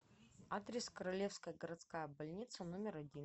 адрес королевская городская больница номер один